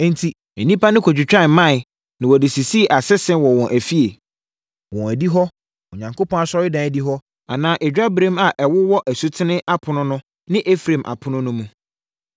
Enti, nnipa no kɔtwitwaa mman, na wɔde sisii asese wɔ wɔn afie, wɔn adihɔ, Onyankopɔn asɔredan adihɔ anaa adwaberem a ɛwowɔ asutene apono no ne Efraim apono no mu.